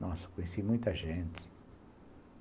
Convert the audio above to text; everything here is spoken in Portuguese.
Nossa, conheci muita gente.